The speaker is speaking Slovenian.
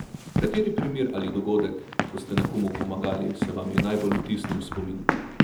Kateri primer ali dogodek, ko ste nekomu pomagali, se vam je najbolj vtisnil v spomin?